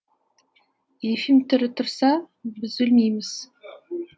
ефим тірі тұрса біз өлмейміз